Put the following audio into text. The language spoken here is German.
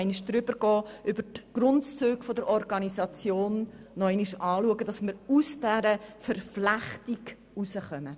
Diese soll die Grundzüge der Organisation der Kirchen nochmals anschauen, damit wir diese Verflechtung auflösen können.